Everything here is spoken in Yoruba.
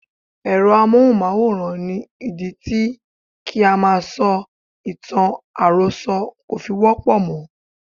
Èrọ amóhùnmáwòrán ni ìdí tí kí á máa sọ ìtàn àròsọ kò fi wọ́pọ̀ mọ́.